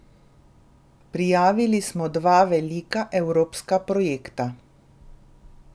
Prijavili smo dva velika evropska projekta.